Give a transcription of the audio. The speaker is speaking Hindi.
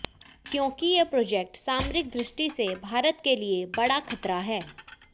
क्योंकि ये प्रोजेक्ट सामरिक दृष्टि से भारत के लिए बड़ा खतरा है